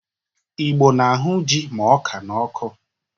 Igbo na-ahụ jị ma ọka n'ọkụ.